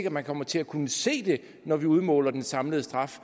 at man kommer til at kunne se det når vi udmåler den samlede straf